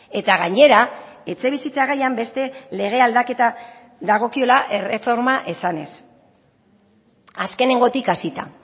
eta gainera etxebizitza gaian beste lege aldaketa dagokiola erreforma esanez azkenengotik hasita